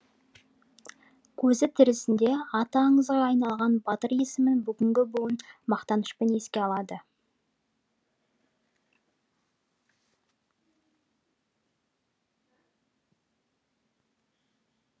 көзі тірісінде аты аңызға айналған батыр есімін бүгінгі буын мақтанышпен еске алады